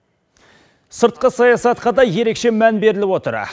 сыртқы саясатқа да ерекше мән беріліп отыр